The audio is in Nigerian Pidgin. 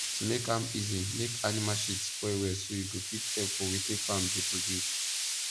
to make am easy make animal shit spoil well so e go fit help for wetin farm dey produce